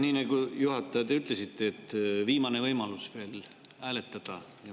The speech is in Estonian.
Nii nagu te, juhataja, ütlesite, on veel viimane võimalus hääletada.